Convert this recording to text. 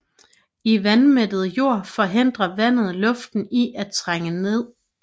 I vandmættet jord forhindrer vandet luften fra at trænge ned